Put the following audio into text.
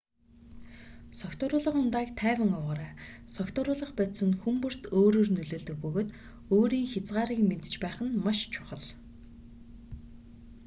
согтууруулах ундааг тайван уугаарай согтууруулах бодис нь хүн бүрд өөрөөр нөлөөлдөг бөгөөд өөрийн хязгаарыг мэдэж байх нь маш чухал